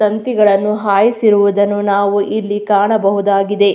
ತಂತಿಗಳನ್ನು ಹಾಯಿಸಿರುವುದನ್ನು ನಾವು ಇಲ್ಲಿ ಕಾಣಬಹುದಾಗಿದೆ.